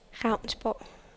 Ravnsborg